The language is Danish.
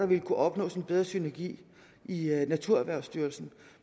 ville kunne opnås en bedre synergi i naturerhvervsstyrelsen